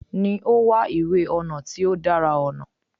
Ni o wa iwe ọnà ti o dara ọnà